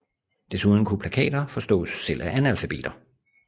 Desuden kunne plakater forstås selv af analfabeter